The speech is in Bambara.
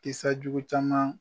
Kisa jugu caman.